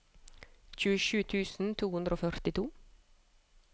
tjuesju tusen to hundre og førtito